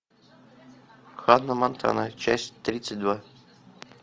ханна монтана часть тридцать два